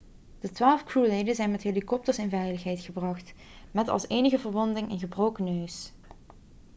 de twaalf crewleden zijn met helikopters in veiligheid gebracht met als enige verwonding een gebroken neus